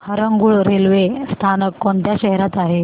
Harangul railway स्थानक कोणत्या शहरात आहे